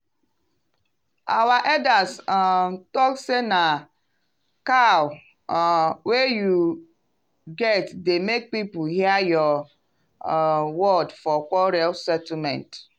our elders um talk say na cow um wey you get dey make people hear your um word for quarrel settlement.